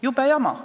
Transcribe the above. Jube jama!